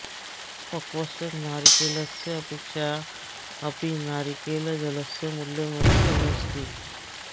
पक्वस्य नारिकेलस्य अपेक्षया अपि नारिकेलजलस्य मूल्यम् अधिकम् अस्ति